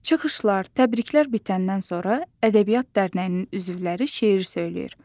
Çıxışlar, təbriklər bitəndən sonra ədəbiyyat dərnəyinin üzvləri şeir söyləyir.